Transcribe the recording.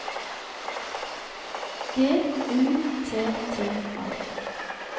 G U T T A